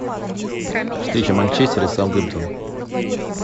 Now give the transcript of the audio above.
встреча манчестера и саутгемптон